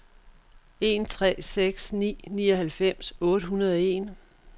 en tre seks ni nioghalvfems otte hundrede og en